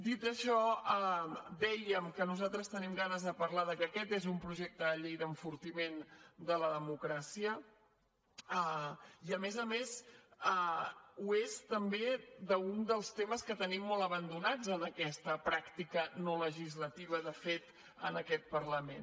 dit això dèiem que nosaltres tenim ganes de parlar que aquest és projecte de llei d’enfortiment de la democràcia i a més a més ho és també d’un dels temes que tenim molt abandonats en aquesta pràctica no legislativa de fet en aquest parlament